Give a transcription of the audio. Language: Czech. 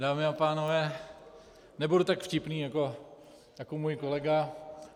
Dámy a pánové, nebudu tak vtipný jako můj kolega.